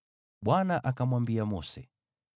Bwana akamwambia Mose,